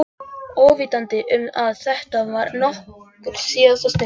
Óvitandi um að þetta var okkar síðasta stund.